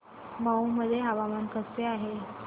मौ मध्ये हवामान कसे आहे